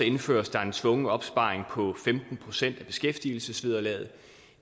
indføres der en tvungen opsparing på femten procent af beskæftigelsesvederlaget